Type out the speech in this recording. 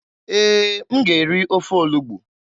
Ee, m ga-eri ofe olugbu.